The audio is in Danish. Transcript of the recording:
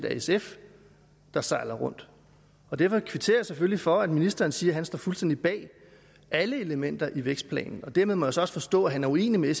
er sf der sejler rundt derfor kvitterer jeg selvfølgelig for at ministeren siger at han står fuldstændig bag alle elementer i vækstplanen og dermed må jeg så også forstå at han er uenig med